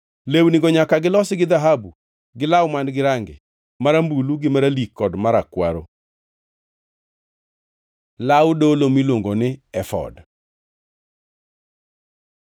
Lewnigo nyaka gilosi gi dhahabu, gi law man-gi range marambulu gi maralik kod marakwaro. Law dolo miluongo ni efod